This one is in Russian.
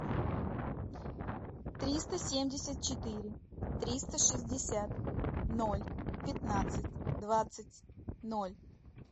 триста семьдесят четыре триста шестьдесят ноль пятнадцать двадцать ноль